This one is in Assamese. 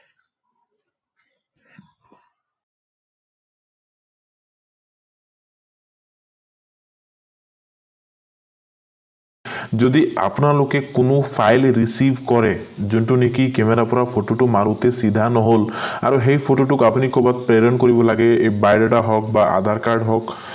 যদি আপোনালোকে কোনো file receive কৰে যোনটো নেকি camera পৰা photo টো মাৰোতে চিধা নহল আৰু সেই photo টোক আপুনি কৰবাত প্ৰেৰণ কৰিব লাগে biodata হক বা aadhar care হওঁক